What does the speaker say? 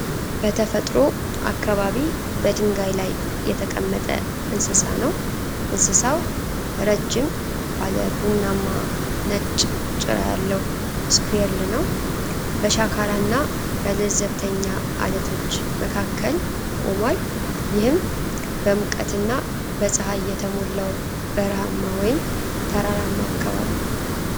በተፈጥሮ አካባቢ በድንጋይ ላይ የተቀመጠ እንስሳ ነው። እንስሳው ረጅም ባለ ቡናማና ነጭ ጭራ ያለው ስኩዊርል ነው። በሸካራና በለዘብተኛ ዐለቶች መካከል ቆሟል። ይህም በሙቀትና በፀሐይ የተሞላው በረሃማ ወይም ተራራማ አካባቢ ነው።